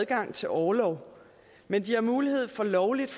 adgang til orlov men de har mulighed for lovligt